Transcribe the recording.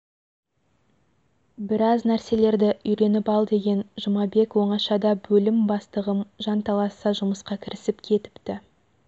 біраз нәрселерді үйреніп ал деген жұмабек оңашадабөлім бастығым жанталаса жұмысқа кірісіп кетіпті